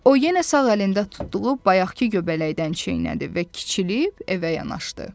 O yenə sağ əlində tutduğu bayaqkı göbələkdən çeynədi və kiçilib evə yanaşdı.